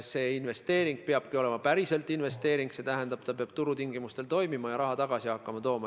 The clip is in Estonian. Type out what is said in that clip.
See investeering peabki olema päriselt investeering: see peab turutingimustel toimima ja hakkama raha tagasi tooma.